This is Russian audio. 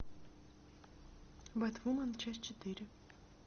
бэтвумен часть четыре